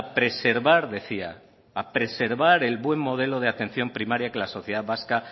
preservar decía el buen modelo de atención primaria que la sociedad vasca